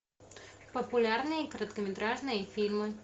популярные короткометражные фильмы